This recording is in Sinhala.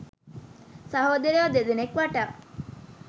සහෝදරයෝ දෙදෙනෙක් වටා.